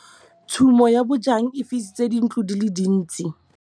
Tshumô ya bojang e fisitse dintlo di le dintsi.